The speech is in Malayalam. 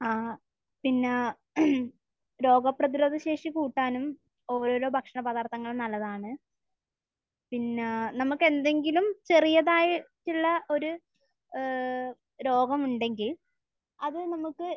ആഹ്. പിന്നെ രോഗപ്രതിരോധ ശേഷി കൂട്ടാനും ഒരോരോ ഭക്ഷണപദാർത്ഥങ്ങൾ നല്ലതാണ്. പിന്നെ നമുക്ക് എന്തെങ്കിലും ചെറിയതായിട്ടുള്ള ഒരു ഏഹ് രോഗമുണ്ടെങ്കിൽ അത് നമുക്ക്